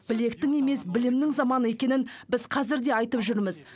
білектің емес білімнің заманы екенін біз қазір де айтып жүрміз